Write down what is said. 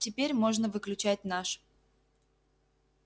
теперь можно выключать наш